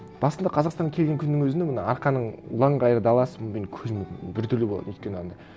басында қазақстанға келген күннің өзіне мына арқаның ұлан ғайыр даласын мен көзім біртүрлі болатын өйткені анандай